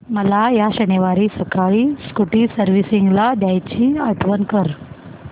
मला या शनिवारी सकाळी स्कूटी सर्व्हिसिंगला द्यायची आठवण कर